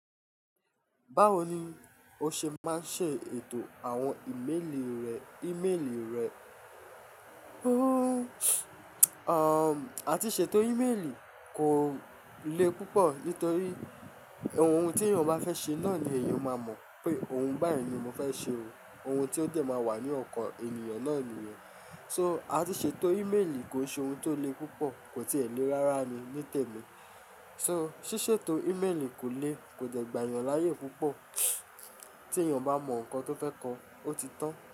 Báwo ni o ṣe máa ń ṣe ètò àwọn ìmélì rẹ, ìmélì rẹ? A ti ṣètò ìmélì kò le púpọ̀ nítorí ohun tí èèyàn bá fẹ́ ṣe náà ni èèyàn máa mọ̀ pé ohun báyìí ni mo fẹ́ ṣe o. Ohun tí ó dẹ̀ máa wà ní ọkàn ènìyàn náà nìyẹn. So a ti ṣètò ìmélì kí ó ṣe ohun tó le púpọ̀, kò sì ẹ́ lé rárá ni ní tèmi. So ṣíṣètò ìmélì kò le, kò dẹ̀ gba èèyàn láyè púpọ̀. Tí èèyàn bá mọ ohun kan tí ó fẹ́ kọ, ó ti tán.